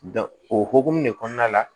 o hokumu de kɔnɔna la